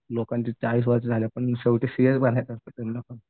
लोकांची चाळीस वर्ष जझली पण शेवटी सीएच बनायचं असतं त्यांना पण.